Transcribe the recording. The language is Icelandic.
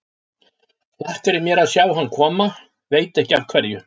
Hlakkar í mér að sjá hann koma, veit ekki af hverju.